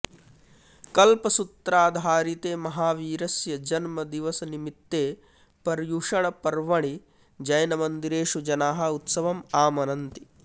कल्पसूत्राधारिते महावीरस्य जन्मदिवसनिमित्ते पर्युषणपर्वणि जैनमन्दिरेषु जनाः उत्सवम् आमनन्ति